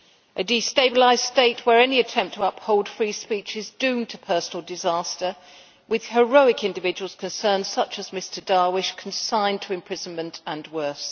A destabilised state, where any attempt to uphold free speech is doomed to personal disaster, with heroic individuals concerned, such as Mr Darwish, consigned to imprisonment and worse.